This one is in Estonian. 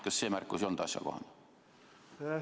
Kas see märkus ei olnud asjakohane?